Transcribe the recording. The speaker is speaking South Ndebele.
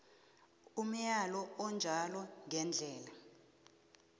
umyalo onjalo ngendlela